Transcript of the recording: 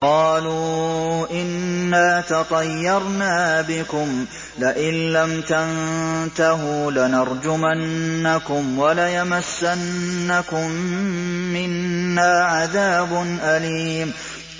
قَالُوا إِنَّا تَطَيَّرْنَا بِكُمْ ۖ لَئِن لَّمْ تَنتَهُوا لَنَرْجُمَنَّكُمْ وَلَيَمَسَّنَّكُم مِّنَّا عَذَابٌ أَلِيمٌ